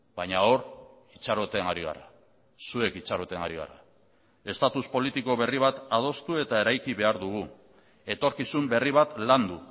baina hor itxaroten ari gara zuek itxaroten ari gara estatus politiko berri bat adostu eta eraiki behar dugu etorkizun berri bat landu